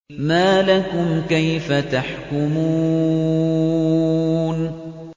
مَا لَكُمْ كَيْفَ تَحْكُمُونَ